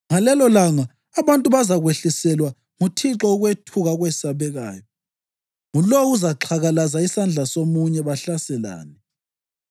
Ngalelolanga abantu bazakwehliselwa nguThixo ukwethuka okwesabekayo. Ngulowo uzaxhakalaza isandla somunye, bahlaselane.